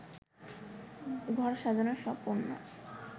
ঘর সাজানোর সব পণ্যে